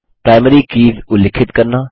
primary keys उल्लिखित करना